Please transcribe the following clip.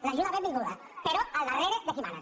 l’ajuda benvinguda però al darrere de qui mana